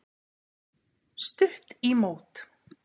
Stutt í mót.